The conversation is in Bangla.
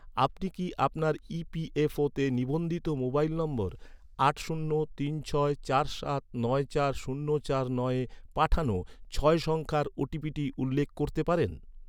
আপনি কি আপনার ইপিএফওতে ​​নিবন্ধিত মোবাইল নম্বর আট শূন্য তিন ছয় সাত নয় চার শূন্য চার নয়ে পাঠানো, ছয় সংখ্যার ওটিপিটি উল্লেখ করতে পারেন?